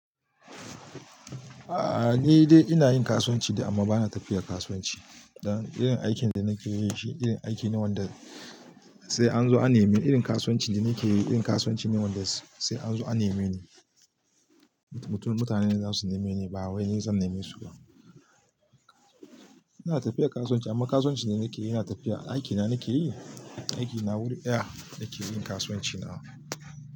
A'a, ni dai ina yin kasuwanci dai amma bana tafiya kasuwanci. Dan irin aikin da nake yi shi irin aiki ne wanda sai an zo a neme. Irin kasuwanci da nake yi irin kasuwanci ne wanda sai an zo a neme ni. Mutanen za su neme ni, ba wai ni zan neme su ba. Ina tafiya kasuwanci amma kasuwancin da nake yana tafiya aiki na nake yi, aiki na wurin daya nake yin kasuwanci na.